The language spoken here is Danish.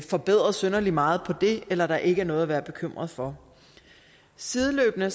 forbedret synderlig meget på det eller at der ikke er noget at være bekymret for sideløbende